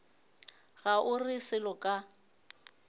ga o re selo ka